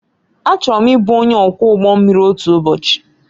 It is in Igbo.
Achọrọ m ịbụ onye ọkwọ ụgbọ mmiri otu ụbọchị